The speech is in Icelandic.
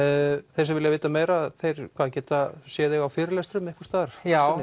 þeir sem vilja vita meira þeir geta séð þig á fyrirlestrum einhvers staðar já